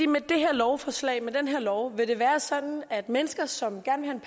med det her lovforslag og med den her lov vil det være sådan at mennesker som gerne